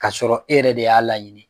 K'a sɔrɔ e yɛrɛ de y'a laɲini